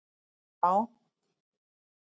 eða Já!